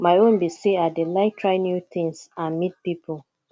my own be say i dey like try new things and meet people